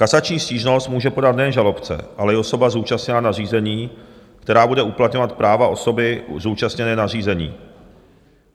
Kasační stížnost může podat nejen žalobce, ale i osoba zúčastněná na řízení, která bude uplatňovat práva osoby zúčastněné na řízení.